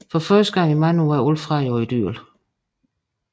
For første gang i mange år er alt fred og idyl